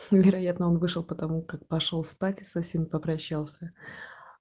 вероятно он вышел потому как пошёл спать со всеми попрощался